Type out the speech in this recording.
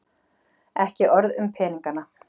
Ekki orð um peningana.